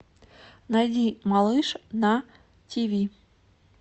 найди малыш на тиви